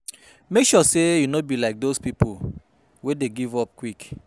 Mek sure say yu no be like dose pipo wey dey give up quick